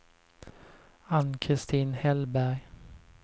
Ann-Christin Hellberg